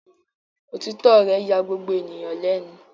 Òtítọ́ rẹ̀ ya gbogbo ènìyàn lẹ́nu.